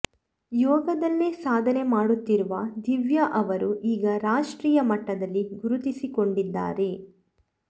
ಯೋಗದಲ್ಲೇ ಸಾಧನೆ ಮಾಡುತ್ತಿರುವ ದಿವ್ಯ ಅವರು ಈಗ ರಾಷ್ಟ್ರೀಯ ಮಟ್ಟದಲ್ಲಿ ಗುರುತಿಸಿಕೊಂಡಿದ್ದಾರೆ